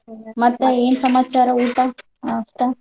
ಮತ್ತ್ ಏನ್ ಸಮಾಚಾರ ಊಟ ನಾಷ್ಟಾ?